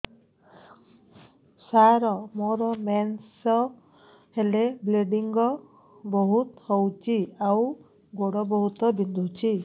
ସାର ମୋର ମେନ୍ସେସ ହେଲେ ବ୍ଲିଡ଼ିଙ୍ଗ ବହୁତ ହଉଚି ଆଉ ଗୋଡ ବହୁତ ବିନ୍ଧୁଚି